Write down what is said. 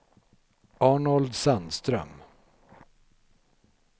Arnold Sandström